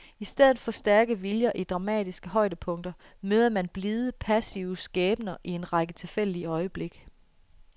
I stedet for stærke viljer i dramatiske højdepunkter møder man blide, passive skæbner i en række tilfældige øjeblikke.